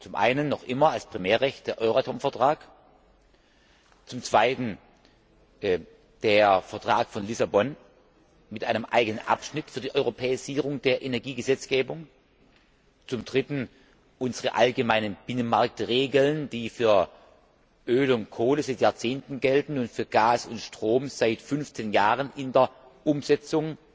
Zum einen noch immer als Primärrecht den Euratom Vertrag, zum anderen den Vertrag von Lissabon mit einem eigenen Abschnitt für die Europäisierung der Energiegesetzgebung, zum dritten unsere allgemeinen Binnenmarktregeln, die für Öl und Kohle seit Jahrzehnten gelten und für Gas und Strom seit 15 Jahren in der Umsetzung